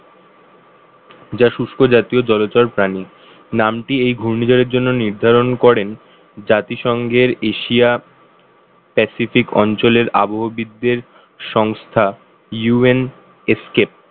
শুষ্ক জাতীয় জলচর প্রাণী নামটি এই ঘূর্ণিঝড় এর জন্য নির্ধারণ করেন জাতিসংঘের এশিয়া pacific অঞ্চলের আবহবিদদের সংস্থা UNESCAP